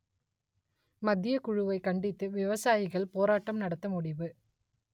மத்தியக்குழுவை கண்டித்து விவசாயிகள் போராட்டம் நடத்த முடிவு